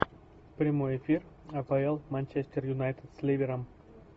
прямой эфир апл манчестер юнайтед с ливером